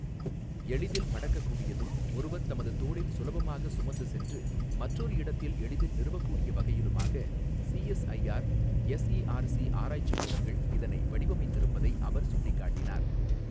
எளிதில் மடக்கக் கூடியதும், ஒருவர் தமது தோளில் சுலபமாக சுமந்து சென்று மற்றொரு இடத்தில் எளிதில் நிறுவக்கூடிய வகையிலுமாக சிஎஸ்ஐஆர் எஸ்ஈஆர்சி ஆராய்ச்சிக் கூடங்கள் இதனை வடிவமைத்து இருப்பதை அவர் சுட்டிக்காட்டினார்.